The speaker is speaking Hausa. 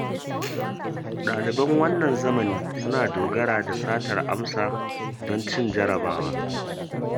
Ɗaliban wannan zamani suna dogara da satar amsa don cin jarrabawa.